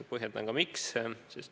Põhjendan ka, miks.